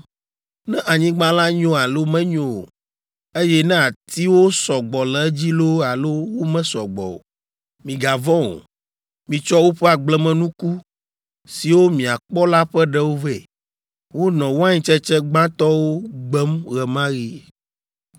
ne anyigba la nyo alo menyo o, eye ne atiwo sɔ gbɔ le edzi loo alo womesɔ gbɔ o. Migavɔ̃ o. Mitsɔ woƒe agblemenuku, siwo miakpɔ la ƒe ɖewo vɛ.” (Wonɔ waintsetse gbãtɔwo gbem ɣe ma ɣi.)